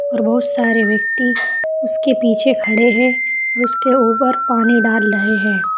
और बहुत सारे व्यक्ति उसके पीछे खड़े हैं उसके ऊपर पानी डाल रहे हैं।